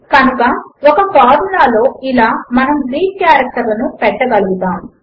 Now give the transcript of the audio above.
కనుక ఒక ఫార్ములా లో ఇలా మనము గ్రీక్ కారెక్టర్లను పెట్టగలుగుతాము